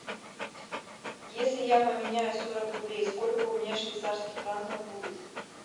если я поменяю сорок рублей сколько у меня швейцарских франков будет